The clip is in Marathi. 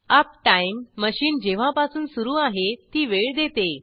अपटाईम मशीन जेव्हापासून सुरू आहे ती वेळ देते